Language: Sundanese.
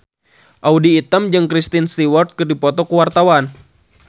Audy Item jeung Kristen Stewart keur dipoto ku wartawan